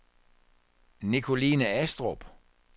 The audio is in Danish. Nicoline Astrup